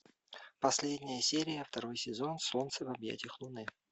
последняя серия второй сезон солнце в объятиях луны